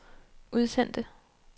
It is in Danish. udsendte